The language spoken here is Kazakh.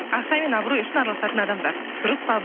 ақша мен абырой үшін араласатын адамдар дұрыс па